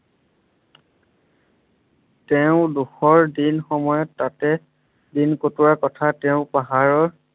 তেওঁ দুখৰ দিন সময়ত তাতে দিন কটোৱাৰ কথা তেওঁ পাহাৰৰ